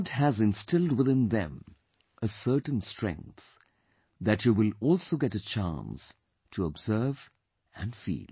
God has instilled within them a certain strength that you will also get a chance to observe and feel